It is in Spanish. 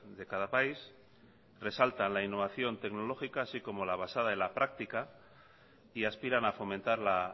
de cada país resaltan la innovación tecnológica así como la basada en la práctica y aspiran a fomentar la